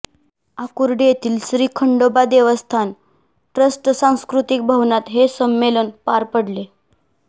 आकुर्डी येथील श्री खंडोबा देवस्थान ट्रस्ट सांस्कृतिक भवनात हे संमेलन पार पडले